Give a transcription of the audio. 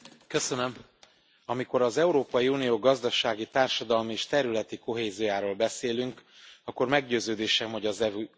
Amikor az Európai Unió gazdasági, társadalmi és területi kohéziójáról beszélünk, akkor meggyőződésem, hogy az EU jövője a tét.